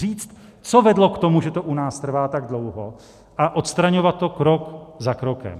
Říct, co vedlo k tomu, že to u nás trvá tak dlouho, a odstraňovat to krok za krokem.